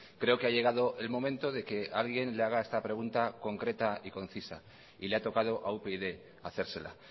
creo que ha llegado el momento de que alguien le haga esta pregunta concreta y concisa y le ha tocado a upyd hacérsela